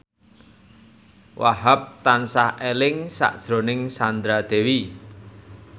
Wahhab tansah eling sakjroning Sandra Dewi